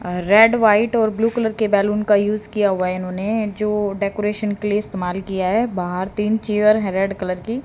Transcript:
अ red white और blue colour के balloon का यूज किया हुआ है इन्होने जो डेकोरेशन के लिए इस्तेमाल किया है बाहर तीन चेयर है रेड कलर की।